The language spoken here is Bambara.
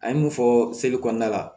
An ye mun fɔ seli kɔnɔna la